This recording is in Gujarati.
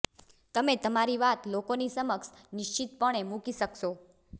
તમે તમારી વાત લોકોની સમક્ષ નિશ્ચિતપણે મૂકી શકશો